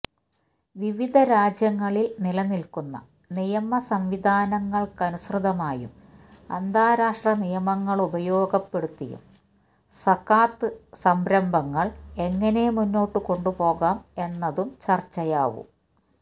വിവിധ രാജ്യങ്ങളില് നിലനില്ക്കുന്ന നിയമ സംവിധാനങ്ങള്ക്കനുസൃതമായും അന്താരാഷ്ട്ര നിയമങ്ങളുപയോഗപ്പെടുത്തിയും സകാത്ത് സംരംഭങ്ങള് എങ്ങനെ മുന്നോട്ടു കൊുപോകാം എന്നതും ചര്ച്ചയാവും